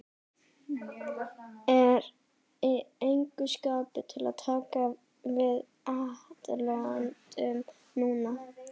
Er í engu skapi til að taka við atlotum núna.